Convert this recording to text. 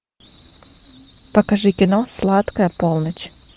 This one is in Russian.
покажи кино сладкая полночь